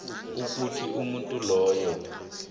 ukuthi umuntu loyo